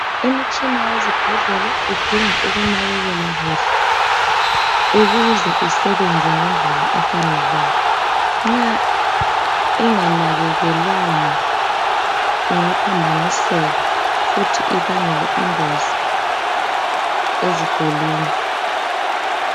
Imitshina yezibhedlela idinga ukunakekelwa kuhle, ukuze isebenze ngendlela efaneleyo. Nxa inganakekelwanga ingaphambaniseka futhi ibangele ingozi ezigulini.